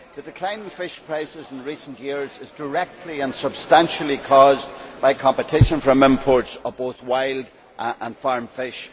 The decline in fish prices in recent years is directly and substantially caused by competition from imports of both wild and farmed fish.